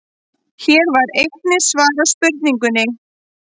Hér var einnig svarað spurningunni: